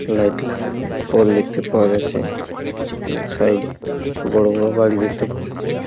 Light লাগানো কল দেখতে পাওয়া যাচ্ছে। এবং সাইড -এ বড় বড় বাড়ি দেখতে পাওয়া যাচ্ছে।